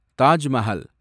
Taj Mahal